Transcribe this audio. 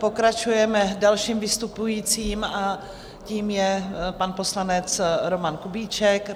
Pokračujeme dalším vystupujícím a tím je pan poslanec Roman Kubíček.